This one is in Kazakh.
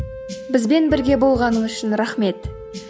бізбен бірге болғаныңыз үшін рахмет